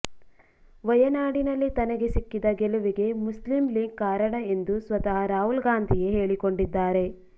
ವಯನಾಡಿನಲ್ಲಿ ತನಗೆ ಸಿಕ್ಕಿದ ಗೆಲುವಿಗೆ ಮುಸ್ಲಿಂ ಲೀಗ್ ಕಾರಣ ಎಂದು ಸ್ವತಃ ರಾಹುಲ್ ಗಾಂಧಿಯೇ ಹೇಳಿಕೊಂಡಿದ್ದಾರೆ